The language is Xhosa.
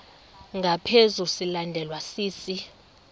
ngaphezu silandelwa sisi